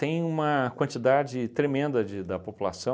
Tem uma quantidade tremenda de da população